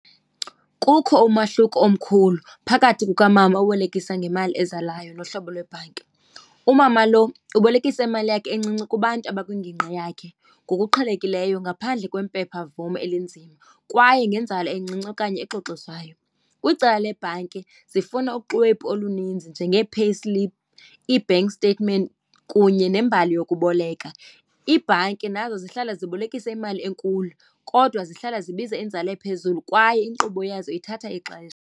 Kukho umahluko omkhulu phakathi kukamama obolekisa ngemali ezalayo nohlobo lwebhanki. Umama lo ubolekisa imali yakhe encinci kubantu abakwingingqi yakhe ngokuqhelekileyo ngaphandle kwempephamvume elinzima kwaye nenzala encinci okanye exoxisayo. Kwicala lebhanki zifuna uxwebhu oluninzi njengee-payslip, ii-bank statement kunye nembali yokuboleka. Iibhanki nazo zihlala zibolekisa imali enkulu kodwa zihlala zibiza inzala ephezulu kwaye inkqubo yazo ithatha ixesha.